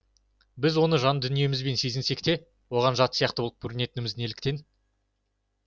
біз оны жан дүниемізбен сезінсек те оған жат сияқты болып көрінетіндігіміз неліктен